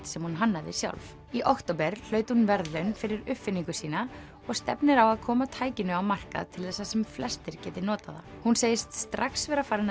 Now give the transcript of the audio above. sem hún hannaði sjálf í október hlaut hún verðlaun fyrir uppfinningu sína og stefnir á að koma tækinu á markað til þess að sem flestir geti notað það hún segist strax vera farin